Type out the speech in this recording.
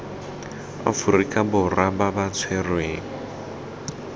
aforika borwa ba ba tshwerweng